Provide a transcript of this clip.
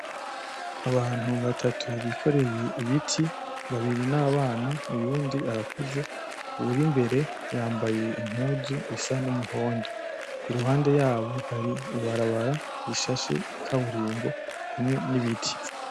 Abantu batatu bikoreye ibiti babiri n'abana uwundi arakuze uwuei imbere yambaye impuzu isa n'umuhondo iruhande yabo hari ibarabara rishashe ikaburimbi hamwe n'ibiti.